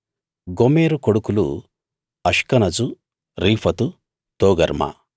గోమెరు కొడుకులు Ashkenaz Riphath తోగర్మా